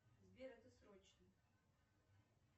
сбер это срочно